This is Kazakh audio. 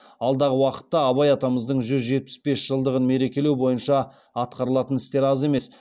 алдағы уақытта абай атамыздың жүз жетпіс бес жылдығын мерекелеу бойынша атқарылатын істер аз емес